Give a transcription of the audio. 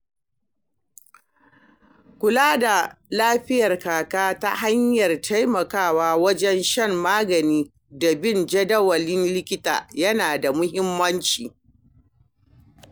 Kula da lafiyar Kaka ta hanyar taimakawa wajen shan magani da bin jadawalin likita yana da muhimmanci.